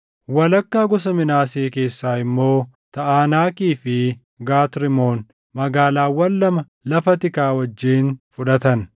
Walakkaa gosa Minaasee keessaa immoo Taʼanaakii fi Gat Rimoon, magaalaawwan lama lafa tikaa wajjin fudhatan.